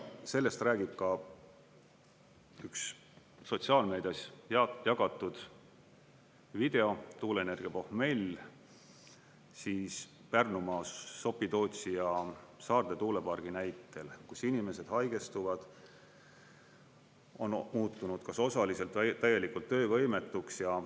Sellest räägib ka üks sotsiaalmeedias jagatud video "Tuuleenergia pohmell" Pärnumaa Sopi-Tootsi ja Saarde tuulepargi näitel, kus inimesed haigestuvad, on muutunud kas osaliselt või täielikult töövõimetuks.